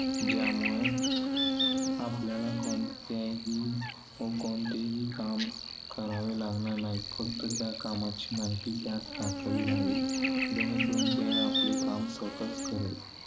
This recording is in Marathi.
ज्यामुळे आपल्याला कोणत्याही व कोणतेही काम करावे लागणार नाही. फक्त त्या कामाची माहिती त्यात टाकावी लागेल. जेणे करून ते आपले काम स्वतःच करेल.